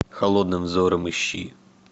холодным взором ищи